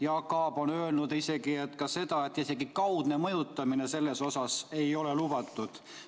Jaak Aab on öelnud, et isegi kaudne mõjutamine ei ole lubatud.